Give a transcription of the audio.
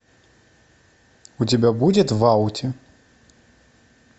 у тебя будет в ауте